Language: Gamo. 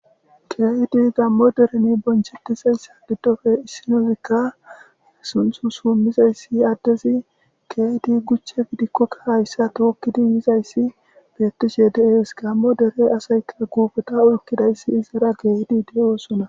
geedi gammo dereni bonchetisessa diddofe issinozikka sunthu summizayssi addezi geedi guchche dikkokka hayssa tookkidi yizayssi beettishe deees gammo dere asaya guubota ulkidayssi izara geedi de7osona